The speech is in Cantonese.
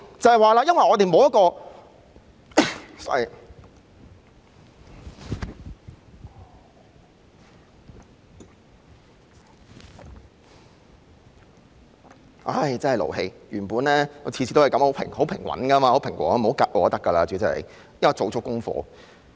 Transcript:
真的很勞氣，我原本每次都很平和的，主席不要"窒"我就可以了，我已做足功課。